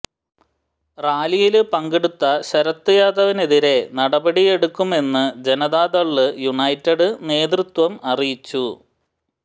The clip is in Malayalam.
റാലിയില് പങ്കെടുത്ത ശരദ് യാദവിനെതിരെ നടപടിയെടുക്കുമെന്ന് ജനതാദള് യുണൈറ്റഡ് നേതൃത്വം അറിയിച്ചു